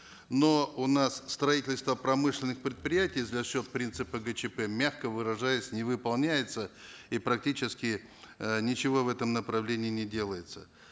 но у нас строительство промышленных предприятий за счет принципа гчп мягко выражаясь не выполняется и практически э ничего в этом направлении не делается